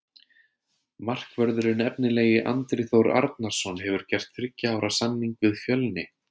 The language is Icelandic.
Markvörðurinn efnilegi Andri Þór Arnarson hefur gert þriggja ára samning við Fjölni.